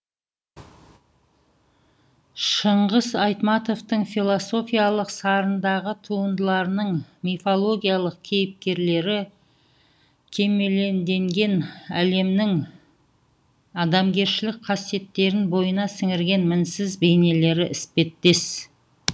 шыңғыс айтматовтың философиялық сарындағы туындыларының мифологиялық кейіпкерлері кемеледенген әлемнің адамгершілік қасиеттерін бойына сіңірген мінсіз бейнелері іспеттес